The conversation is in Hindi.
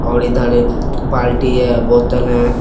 और इधर एक बाल्टी है बोतल है।